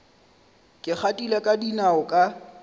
ke gatile ka dinao ka